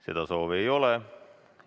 Seda soovi ei ole.